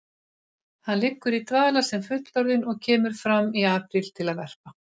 Hann liggur í dvala sem fullorðinn og kemur fram í apríl til að verpa.